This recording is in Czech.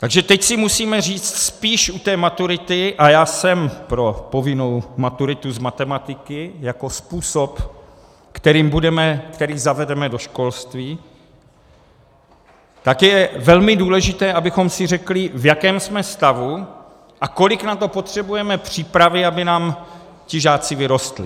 Takže teď si musíme říct spíš u té maturity, a já jsem pro povinnou maturitu z matematiky jako způsob, který zavedeme do školství, tak je velmi důležité, abychom si řekli, v jakém jsme stavu a kolik na to potřebujeme přípravy, aby nám ti žáci vyrostli.